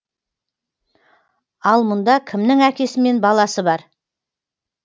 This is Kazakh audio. ал мұнда кімнің әкесі мен баласы бар